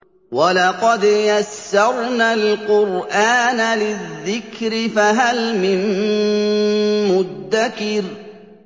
وَلَقَدْ يَسَّرْنَا الْقُرْآنَ لِلذِّكْرِ فَهَلْ مِن مُّدَّكِرٍ